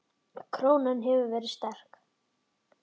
Krónan hefur verið of sterk.